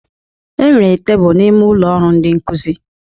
Enwere tebụl n'ime ụlọ ọrụ ndị nkụzi